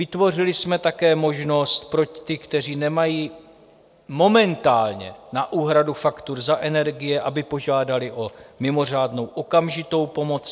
Vytvořili jsme také možnost pro ty, kteří nemají momentálně na úhradu faktur za energie, aby požádali o mimořádnou okamžitou pomoc.